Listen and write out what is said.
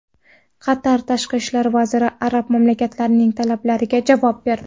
Qatar tashqi ishlar vaziri arab mamlakatlarining talablariga javob berdi.